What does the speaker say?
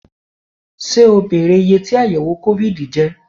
Ṣé o bèrè iyé tí àyẹ̀wò COVID jẹ́?